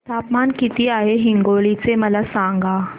तापमान किती आहे हिंगोली चे मला सांगा